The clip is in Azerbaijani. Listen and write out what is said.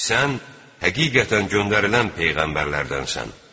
Sən həqiqətən göndərilən peyğəmbərlərdənsən.